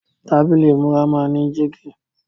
Tábílì ìmúra máa ń ní jígí.